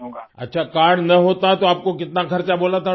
اچھا کارڈ نہ ہوتا تو آپ کو کتنا خرچ بولا تھا ڈاکٹر نے